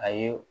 A ye